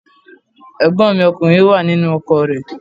Ẹ̀gbọ́n mi ọkùnrin wà nínú ọkọ̀ rẹ̀